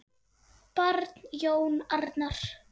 Barn: Jón Arnar.